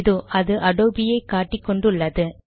இதோ அது அடோபியை காட்டி கொண்டு உள்ளது